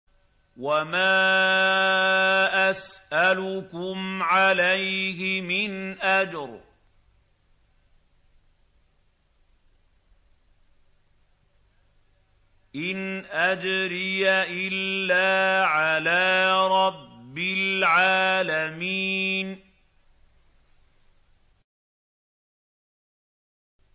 وَمَا أَسْأَلُكُمْ عَلَيْهِ مِنْ أَجْرٍ ۖ إِنْ أَجْرِيَ إِلَّا عَلَىٰ رَبِّ الْعَالَمِينَ